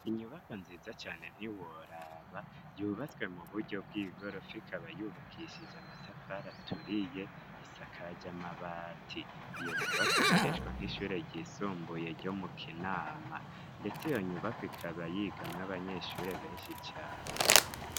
Inyubako nziza cane ntiworaba yubatswe mu buryo bw'igorofi ikaba yubakishije amatafara aturiye isakaja amabati iyo nyubako ikoreshwa nk'ishure ryisumbuye ryo mu kinama, ndetse iyo nyubako ikaba yigamwe abanyeshuri benshi cane.